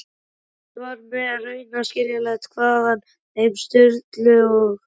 Fyrst var mér raunar illskiljanlegt hvaðan þeim Sturlu og